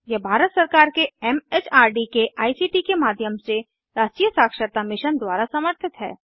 यह भारत सरकार के एमएचआरडी के आईसीटी के माध्यम से राष्ट्रीय साक्षरता मिशन द्वारा समर्थित है